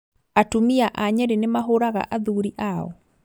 Atumia a Nyiri nĩmahũraga athuri ao?